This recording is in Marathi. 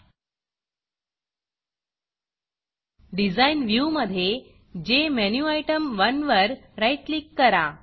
Designडिज़ाइन व्ह्यूमधे जेमेन्युटेम1 वर राईट क्लिक करा